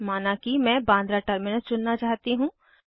माना कि मैं बान्द्रा टर्मिनस चुनना चाहती हूँ